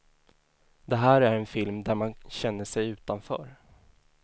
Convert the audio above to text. Det här är en film där man känner sig utanför.